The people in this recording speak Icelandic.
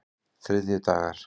þriðjudagar